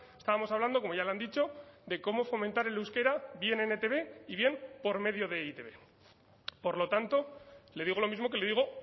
estábamos hablando como ya le han dicho de cómo fomentar el euskera bien en etb y bien por medio de e i te be por lo tanto le digo lo mismo que le digo